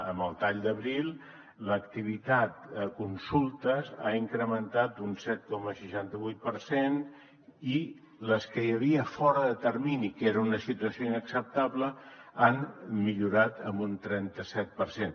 amb el tall d’abril l’activitat a consultes ha incrementat un set coma seixanta vuit per cent i les que hi havia fora de termini que era una situació inacceptable han millorat en un trenta set per cent